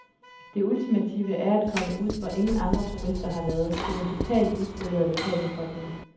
Det ultimative er at komme ud, hvor ingen andre turister har været, til den totalt uspolerede lokalbefolkning.